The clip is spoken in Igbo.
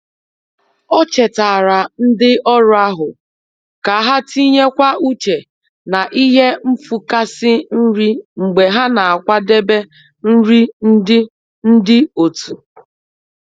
O chetaara ndị ọrụ ahụ ka ha tinye kwa uche na ihe nfụkasị nri mgbe ha n'akwadebe nri ndi ndi otu.